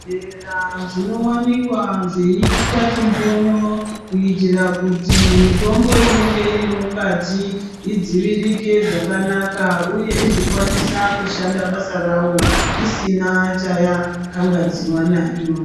Zvibhedhlera zvinowanikwa zveiiswa chimbonyo kuitira kuti mitombo inenge iri mukati idziviririke zvakanaka uye uzokwanisa kushanda basa rawo isina chayakangadziwa nayo.